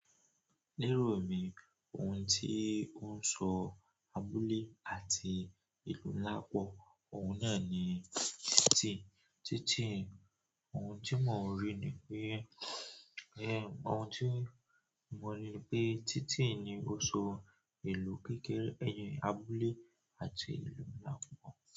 Ní èrò mí, ohun tí ó ń sọ abúlé àti ìlú ńlá pọ̀, ọ̀hun náà ni tí títì ohun tí mò ń ri ni pé ẹh ẹh ohun tí mò ń ri pé títì ni ó sọ ìlú kékeré ẹyin abúlé àti ìlú ńlá pọ̀.